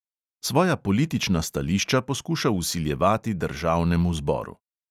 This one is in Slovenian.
Svoja politična stališča poskuša vsiljevati državnemu zboru.